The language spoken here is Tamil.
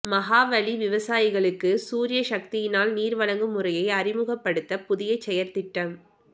மகாவலி விவசாயிகளுக்கு சூரிய சக்தியினால் நீர் வழங்கும் முறையை அறிமுகப்படுத்த புதிய செயற்திட்டம்